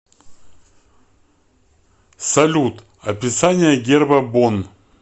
салют описание герба бонн